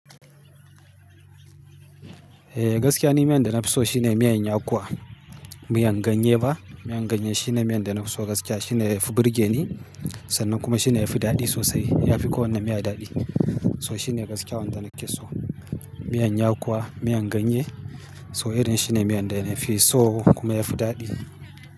Eh gaskiya ni miyan da na fi so shine miyan yakuwa, miyan ganye ba. Miyar ganye shine miyan da na fi so gaskiya. Shine yafi burge ni sannan kuma shine yafi daɗi sosai. Yafi kowanne miya daɗi. So shine gaskiya wanda nake so. Miyar yakuwa, miyan ganye so irin shine miyan da ina fi so kuma yafi daɗi.